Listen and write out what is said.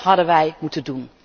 Dát hadden wij moeten doen!